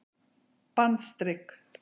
bandstrik